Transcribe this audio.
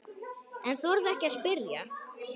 En þorði ekki að spyrja.